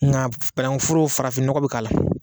Nka banankun foro farafin nɔgɔ bɛ k'a la.